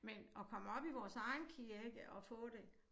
Men at komme op i vores egen kirke og få det